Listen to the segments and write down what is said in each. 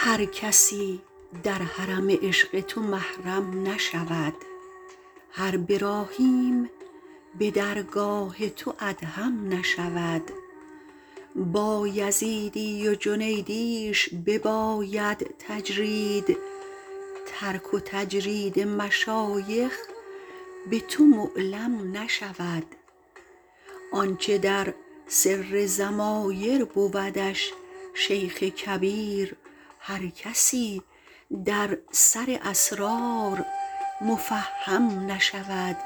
هر کسی در حرم عشق تو محرم نشود هر براهیم به درگاه تو ادهم نشود بایزیدی و جنیدیش بباید تجرید ترک و تجرید مشایخ به تو معلم نشود آنچه در سر ضمایر بودش شیخ کبیر هر کسی در سر اسرار مفهم نشود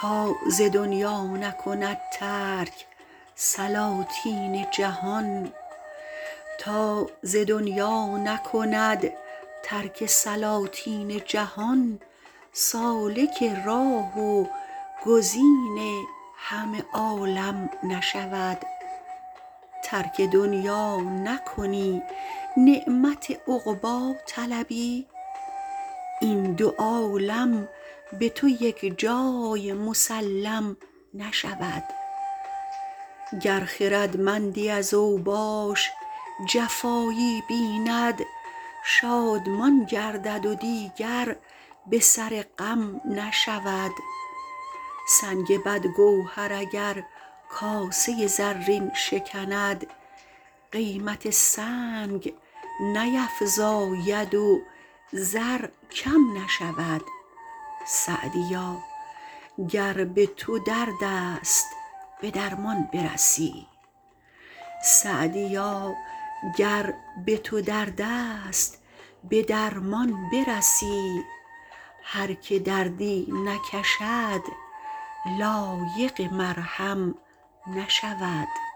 تا ز دنیا نکند ترک سلاطین جهان سالک راه و گزین همه عالم نشود ترک دنیا نکنی نعمت عقبی طلبی این دو عالم به تو یکجای مسلم نشود گر خردمندی از اوباش جفایی بیند شادمان گردد و دیگر به سر غم نشود سنگ بدگوهر اگر کاسه زرین شکند قیمت سنگ نیفزاید و زر کم نشود سعدیا گر به تو درد است به درمان برسی هر که دردی نکشد لایق مرهم نشود